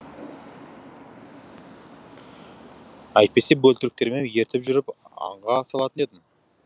әйтпесе бөлтіріктеріме ертіп жүріп аңға салатын едім